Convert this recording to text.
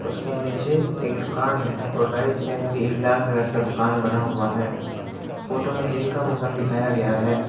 उसके नीचे एक दुकान है और राइट साइड की एक लाल कलर का दुकान बना हुआ है फोटो में दिन का मौसम दिखाया गया है।